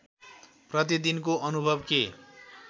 प्रतिदिनको अनुभव के